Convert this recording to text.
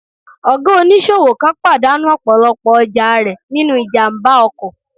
Ọ̀gá oníṣòwò kan pàdánù ọ̀pọ̀lọpọ̀ ọjà rẹ̀ nínú ìjàmbá ọkọ̀